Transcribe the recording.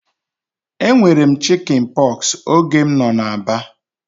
E nwere m chikin pọksi oge m nọ na Aba